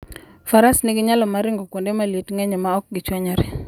Faras nigi nyalo mar ringo kuonde ma liet ng'enyie maok gichwanyre.